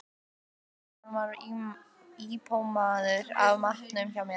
Meira hvað hann var impóneraður af matnum hjá mér.